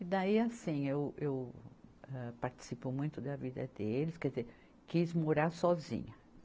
E daí, assim, eu, eu, âh, participo muito da vida deles, quer dizer, quis morar sozinha.